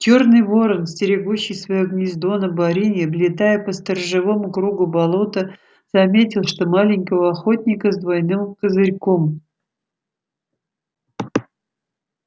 чёрный ворон стерегущий своё гнездо на борине облетая по сторожевому кругу болото заметил что маленького охотника с двойным козырьком